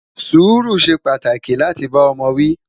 Suru ṣé pàtàkì láti bá ọmọ wi